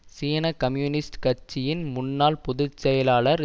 சீன கம்யூனிஸ்ட் கட்சியின் முன்னாள் பொது செயலாளர்